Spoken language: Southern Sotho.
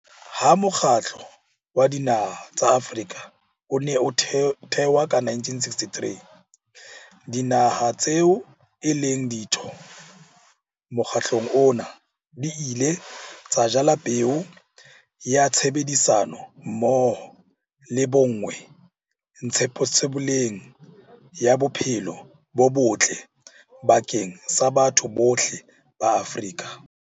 Ha Mokgatlo wa Dinaha tsa Afrika o ne o thewa ka 1963, dinaha tseo e leng ditho mokgatlong ona di ile tsa jala peo ya tshebedisano mmoho le bonngwe ntshetsopeleng ya bophelo bo botle bakeng sa batho bohle ba Afrika.